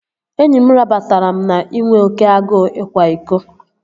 Enyi m rabatara m na inwe oké agụụ ịkwa iko